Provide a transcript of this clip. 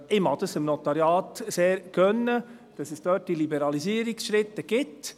Ich mag dem Notariat sehr gönnen, dass es diese Liberalisierungsschritte gibt.